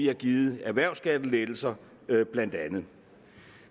har givet erhvervsskattelettelser